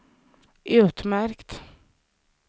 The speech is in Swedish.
utmärkt